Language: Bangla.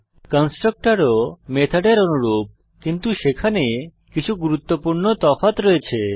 কনস্ট্রাক্টরও মেথডের অনুরূপ কিন্তু সেখানে কিছু গুরুত্বপূর্ণ তফাৎ রয়েছে